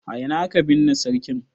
A ina aka binne sarkin?